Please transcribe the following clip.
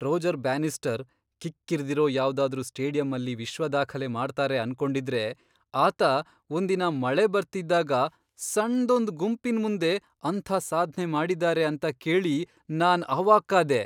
Roger Bannister ಕಿಕ್ಕಿರ್ದಿರೋ ಯಾವ್ದಾದ್ರೂ ಸ್ಟೇಡಿಯಮ್ಮಲ್ಲಿ ವಿಶ್ವದಾಖಲೆ ಮಾಡ್ತಾರೆ ಅನ್ಕೊಂಡಿದ್ರೆ ಆತ ಒಂದಿನ ಮಳೆ ಬರ್ತಿದ್ದಾಗ ಸಣ್ದೊಂದ್ ಗುಂಪಿನ್ ಮುಂದೆ ಅಂಥ ಸಾಧ್ನೆ ಮಾಡಿದಾರೆ ಅಂತ ಕೇಳಿ ನಾನ್ ಅವಾಕ್ಕಾದೆ.